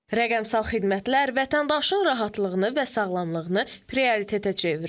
Rəqəmsal xidmətlər vətəndaşın rahatlığını və sağlamlığını prioritetə çevirir.